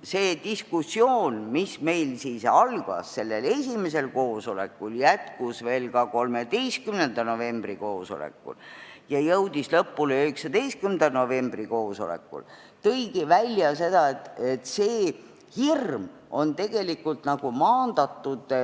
Sellest diskussioonist, mis algas meil esimesel koosolekul, jätkus veel 13. novembril ja jõudis lõpule 19. novembril, tuligi välja see, et seda hirmu on